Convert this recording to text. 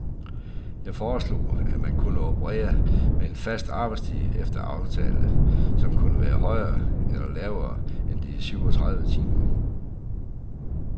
Jeg foreslog, at man kunne operere med en fast arbejdstid efter aftale, som kunne være højere eller lavere end de syvogtredive timer.